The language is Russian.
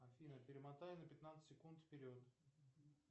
афина перемотай на пятнадцать секунд вперед